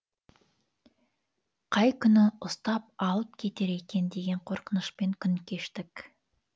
қай күні ұстап алып кетер екен деген қорқынышпен күн кештік